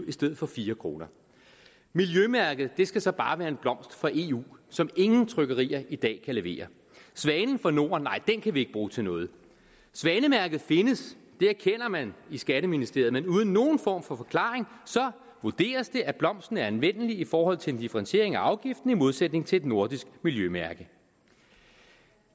i stedet for fire kroner miljømærket skal så bare være en blomst fra eu som ingen trykkerier i dag kan levere svanen fra norden kan ikke bruges til noget svanemærket findes det erkender man i skatteministeriet men uden nogen form for forklaring vurderes det at blomsten er anvendelig i forhold til en differentiering af afgiften i modsætning til et nordisk miljømærke